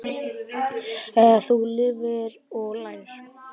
Þú lifir og lærir.